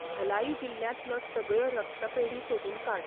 धलाई जिल्ल्यांतल्यो सगळ्यो रक्तपेढी सोदून काड.